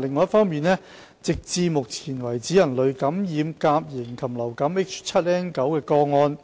另一方面，直至目前，人類感染甲型禽流感 H7N9 的個案